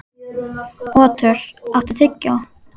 Otur, áttu tyggjó?